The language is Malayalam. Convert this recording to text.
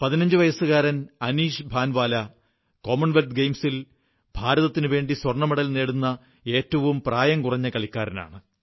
പതിനഞ്ചുവയസ്സുകാരൻ ഷൂട്ടർ അനീഷ് ഭാൻവാലാ കോമൺവെല്ത്ത് ഗെയിംസിൽ ഭാരതത്തിനുവേണ്ടി സ്വർണ്ണമെഡൽ നേടുന്ന ഏറ്റവും പ്രായംകുറഞ്ഞ കളിക്കാരനാണ്